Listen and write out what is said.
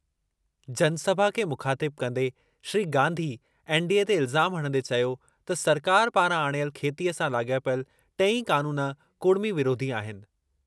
जनसभा खे मुख़ातिब कंदे श्री गांधी एनडीए ते इल्ज़ाम हणंदे चयो त सरकार पारां आणियल खेतीअ सां लाॻापियल टेई क़ानून कुड़मी विरोधी आहिनि।